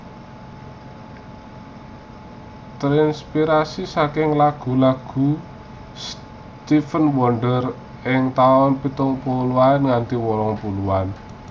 Terinspirasi saking lagu lagu Stevie Wonder ing taun pitung puluhan nganti wolung puluhan